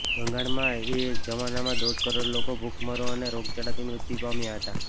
બંગાળમાં એ જમાનમાં દોઢ કરોડ લોકો ભૂખમરો અને રોગચાળાથી મૃત્યુ પામ્યા હતાં